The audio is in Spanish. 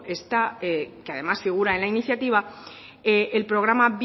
está que además figura en la iniciativa el programa